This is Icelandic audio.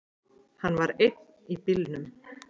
Hann var einn í bílnum.